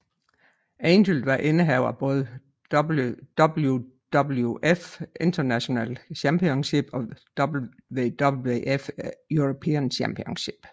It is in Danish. Angle var indehaver af både WWF Intercontinental Championship og WWF European Championship